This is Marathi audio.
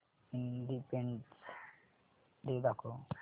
इंडिपेंडन्स डे दाखव